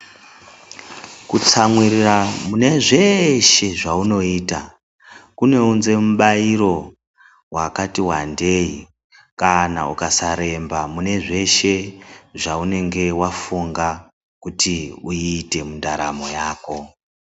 Kutsamwirira mune zvese zvaunoita, kunounza mubairo wakati wandei, kana ukasaremba mune zveshe zvaunenge wafunga kuti uite mundaramo yako.